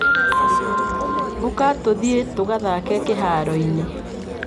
Ũka tũthiĩ tũgathake kĩharo-inĩ.